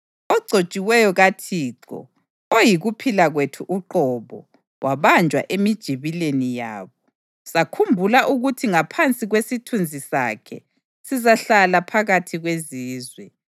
Ogcotshiweyo kaThixo, oyikuphila kwethu uqobo, wabanjwa emijibileni yabo. Sakhumbula ukuthi ngaphansi kwesithunzi sakhe sizahlala phakathi kwezizwe.